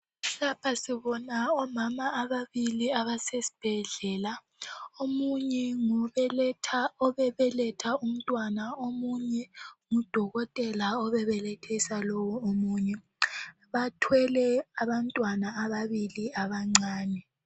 Lapha sibona omama ababili abasesibhedlela, omunye ngobebeletha umntwana omunye ngudokotela obebelethisa lowu omunye. Bathwele abantwana ababili abancane.